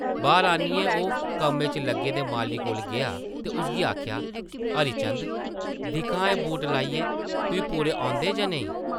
बाह्र आनियै ओह् कम्मै च लग्गे दे माली कोल गेआ ते उसगी आखेआ, ‘‘हरी चंद, दिक्ख हां एह् बूट लाइयै, तुई पूरे औंदे जां नेईं?’’